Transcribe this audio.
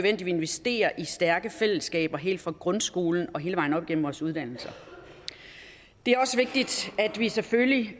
at vi investerer i stærke fællesskaber helt fra grundskolen og hele vejen op igennem vores uddannelser det er også vigtigt at vi selvfølgelig